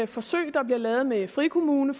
forsøg der bliver lavet med frikommuner